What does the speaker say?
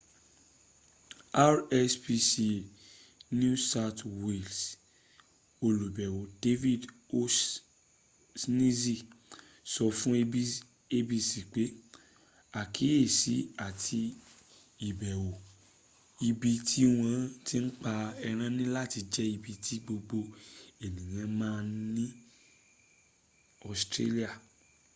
rspca new south wales olùbẹ̀wò david o'shanessy sọ fún abc pé àkíyèsí àti ìbẹ̀wò ibi ti wọ́n ti n pa ẹran niláti jẹ́ ibi tí gbogbo ènìyàn ms ní australia